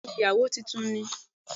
Bẹ́ẹ̀ni ìyàwó titun ni